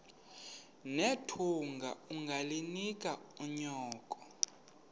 nethunga ungalinik unyoko